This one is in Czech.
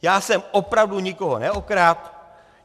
Já jsem opravdu nikoho neokradl.